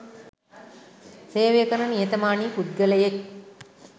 සේවය කරන නිහතමානී පුද්ගලයෙක්.